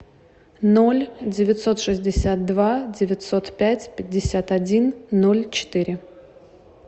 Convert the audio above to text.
ноль девятьсот шестьдесят два девятьсот пять пятьдесят один ноль четыре